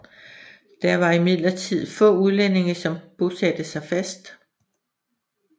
Det var imidlertid få udlændinge som bosatte sig fast